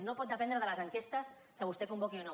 no pot dependre de les enquestes que vostè convoqui o no